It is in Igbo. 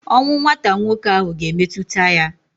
Ọnwụ nwata nwoke ahụ ga-emetụta ya.